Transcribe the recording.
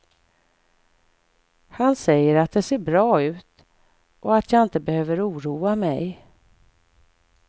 Han säger att det ser bra ut och att jag inte behöver oroa mig.